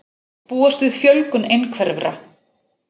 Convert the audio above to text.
Búast við fjölgun einhverfra